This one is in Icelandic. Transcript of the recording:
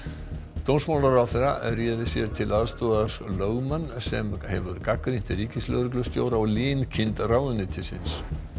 dómsmálaráðherra réð sér í til aðstoðar lögmann sem hefur gagnrýnt ríkislögreglustjóra og linkind ráðuneytisins